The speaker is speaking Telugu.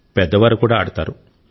పెద్దవారు కూడా ఆడతారు